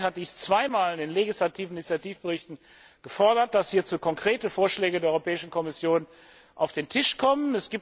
Das Parlament hat in den legislativen Initiativberichten zweimal gefordert, dass hierzu konkrete Vorschläge der Europäischen Kommission auf den Tisch kommen.